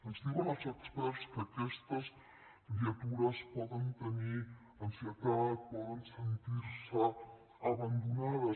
ens diuen els experts que aquestes criatures poden tenir ansietat poden sentir se abandonades